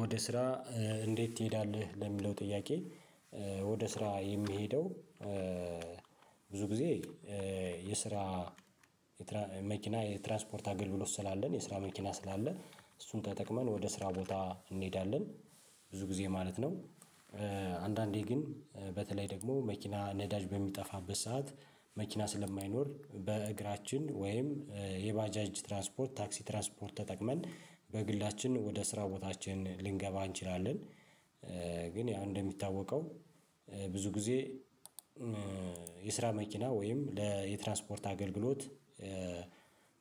ወደ ስራ እንዴት ትሄዳለህ? ለሚለው ጥያቄ ወደ ስራ የሚሄደው ብዙ ጊዜ የስራ መኪና የትራንስፖርት አገልግሎት ስላለን የስራ መኪና ስላለ እሱን ተጠቅመን ወደ ስራ ቦታ እንሄዳለን ብዙ ጊዜ ማለት ነው። አንዳንዴ ግን በተለይ ደግሞ መኪና ነዳጅ በሚጠፋበት ሰዓት መኪና ስለማይኖር በእግራችን ወይም የባጃጅ ትራንስፖርት ታክሲ ትራንስፖርት ተጠቅመን በግላችን ወደ ስራ ቦታችን ልንገባ እንችላለን። ግን ያው እንደሚታወቀው ብዙ ጊዜ የስራ መኪና ወይም ለ የትራንስፖርት አገልግሎት።